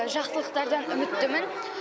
жақсылықтардан үміттімін